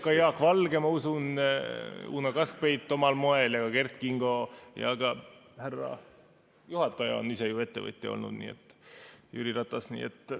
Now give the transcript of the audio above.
Ka Jaak Valge ja ma usun, et Uno Kaskpeit omal moel, Kert Kingo, ja ka härra juhataja on ise ettevõtja olnud, Jüri Ratas.